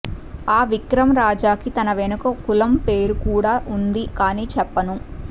ఆ విక్రమ్ రాజా కి తన వెనుక కులం పేరు కూడా ఉంది కానీ చెప్పను